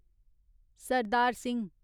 Sardar Singh